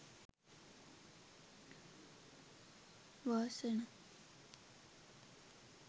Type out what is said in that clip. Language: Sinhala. wasana